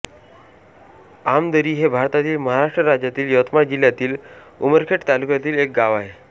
आमदरी हे भारतातील महाराष्ट्र राज्यातील यवतमाळ जिल्ह्यातील उमरखेड तालुक्यातील एक गाव आहे